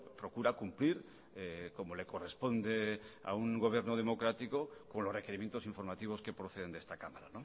procura cumplir como le corresponde a un gobierno democrático con los requerimientos informativos que proceden de esta cámara